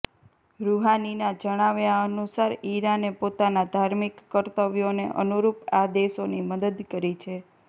રૂહાનીના જણાવ્યાનુસાર ઈરાને પોતાના ધાર્મિક કર્તવ્યોને અનુરૂપ આ દેશોની મદદ કરી છે